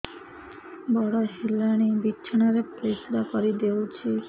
ବଡ଼ ହେଲାଣି ବିଛଣା ରେ ପରିସ୍ରା କରିଦେଉଛି